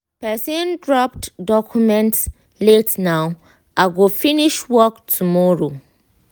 person dropped documents la ten ow i go finish work tomorrow